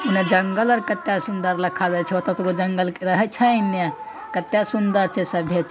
इनने जंगल आर कत्ते सुन्दर दिखावे छै ओते- ओते जंगल रहे छै इनने कते सुन्दर छे सभ--